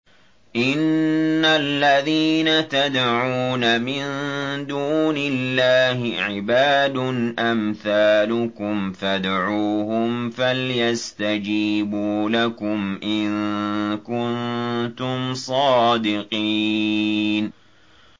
إِنَّ الَّذِينَ تَدْعُونَ مِن دُونِ اللَّهِ عِبَادٌ أَمْثَالُكُمْ ۖ فَادْعُوهُمْ فَلْيَسْتَجِيبُوا لَكُمْ إِن كُنتُمْ صَادِقِينَ